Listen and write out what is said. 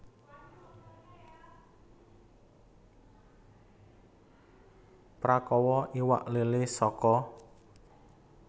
Prakawa iwak lélé saka